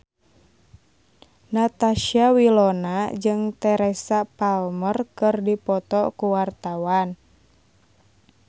Natasha Wilona jeung Teresa Palmer keur dipoto ku wartawan